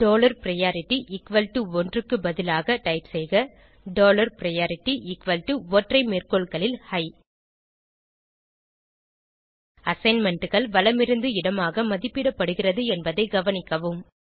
dollar priority equal to ஒன்று க்கு பதிலாக டைப் செய்க டாலர் பிரையாரிட்டி எக்குவல் டோ ஒற்றை மேற்கோள்களில் ஹிக் assignmentகள் வலமிருந்து இடமாக மதிப்பிடப்படுகிறது என்பதை கவனிக்கவும்